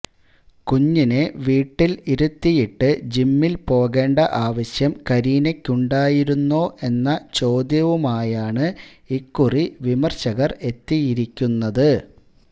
കുഞ്ഞിനെ വീട്ടില് ഇരുത്തിയിട്ട് ജിമ്മില് പോകേണ്ട ആവശ്യം കരീനയ്ക്കുണ്ടായിരുന്നോ എന്ന ചോദ്യവുമായാണ് ഇക്കുറി വിമര്ശകര് എത്തിയിരിക്കുന്നത്